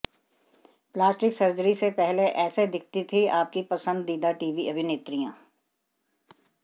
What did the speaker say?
plastic surgery से पहले ऐसे दिखती थी आपकी पसंदीदा टीवी अभिनेत्रियाँ